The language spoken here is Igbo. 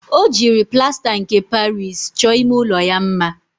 O jiri plasta nke Paris cho ime ulo ya mma.